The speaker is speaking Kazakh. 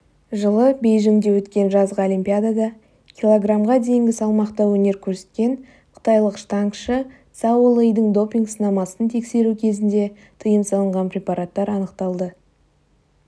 жылы бейжіңде өткен жазғы олимпиадада килогармға дейінгі салмақта өнер көрсеткен қытайлық штангашы цао лэйдің допинг-сынамасын тексеру кезінде тыйым салынған препараттар анықталды